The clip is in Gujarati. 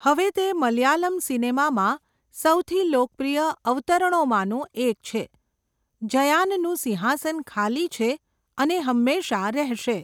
હવે તે મલયાલમ સિનેમામાં સૌથી લોકપ્રિય અવતરણોમાંનું એક છે. 'જયાનનું સિંહાસન ખાલી છે અને હંમેશાં રહેશે.'